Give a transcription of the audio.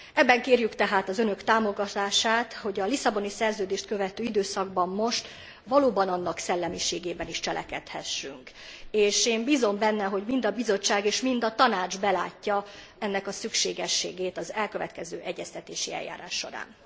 Ebben kérjük tehát az Önök támogatását, hogy a Lisszaboni Szerződést követő időszakban most valóban annak szellemiségében is cselekedhessünk, és én bízom benne, hogy mind a Bizottság, mind a Tanács belátja ennek a szükségességét az elkövetkező egyeztetési eljárás során.